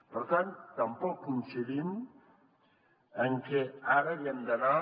per tant tampoc coincidim en que ara haguem d’anar